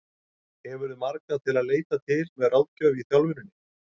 Hefurðu marga til að leita til með ráðgjöf í þjálfuninni?